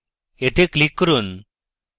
এতে click করুন